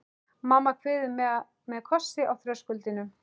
Mamma kveður mig með kossi á þröskuldinum.